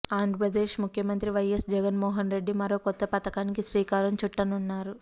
ఆంధ్రప్రదేశ్ ముఖ్యమంత్రి వైఎస్ జగన్ మోహన్ రెడ్డి మరో కొత్త పథకానికి శ్రీకారం చుట్టనున్నారు